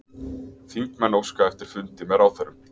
Þingmenn óska eftir fundi með ráðherrum